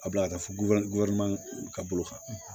A bila a ka fɔ ka bolo kan